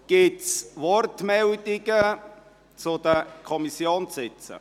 Gibt es Wortmeldungen zu den Kommissionssitzen?